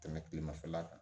Tɛmɛ kilemafɛla kan